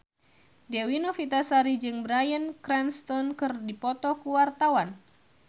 Dewi Novitasari jeung Bryan Cranston keur dipoto ku wartawan